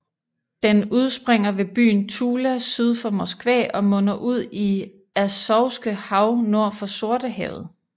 Den udspringer ved byen Tula syd for Moskva og munder ud i Azovske hav nord for Sortehavet